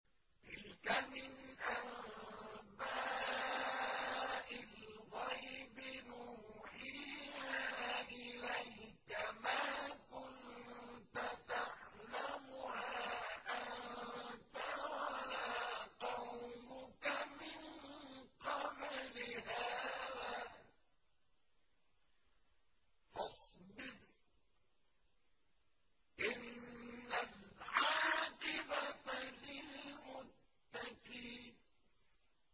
تِلْكَ مِنْ أَنبَاءِ الْغَيْبِ نُوحِيهَا إِلَيْكَ ۖ مَا كُنتَ تَعْلَمُهَا أَنتَ وَلَا قَوْمُكَ مِن قَبْلِ هَٰذَا ۖ فَاصْبِرْ ۖ إِنَّ الْعَاقِبَةَ لِلْمُتَّقِينَ